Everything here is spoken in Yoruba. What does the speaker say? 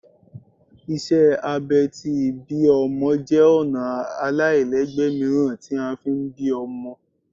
Iṣẹ abẹ̀ tí ibí ọmọ jẹ ọna alailẹgbẹ miiran ti a ń fí bí ómọ